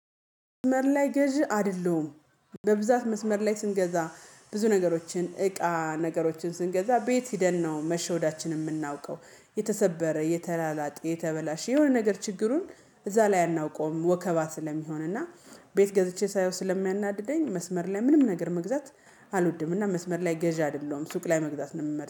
መስመር ላይ ገዢ አይደለሁም። በብዛት መስመር ላይ ስንገዛ ብዙ ነገሮችን እቃ ነገሮችን ስንገዛ ቤት ሂደን ነው መሸወዳችን የምናውቀው። የተሰበረ የተላላጠ የተበላሸ የሆነ ነገር ችግሩን እዛ ላይ አናውቀውም ወከባ ስለሚሆን እና። ቤት ገዝቼ ሳየው ስለሚያናድደኝ መስመር ላይ ምንም ነገር መግዛት። አልወድምና መስመር ላይ ገዢ አይደለሁም ሱቅ ላይ መግዛት ነው ምመር